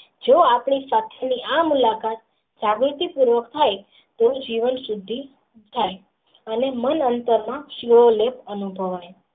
જો આપણે સાચે જ આ મુલાકાત સાબિતી પ્રવક થાય તો જીવન સૂધી થાય અને મન .